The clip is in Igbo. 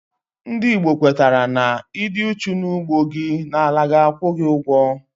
Ndị Igbo kwetara na, Ịdị uchu n'ugbo gị, na àlà ga-akwu gị ugwo